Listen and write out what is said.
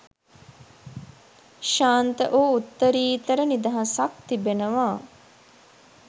ශාන්ත වූ උත්තරිතර නිදහසක් තිබෙනවා.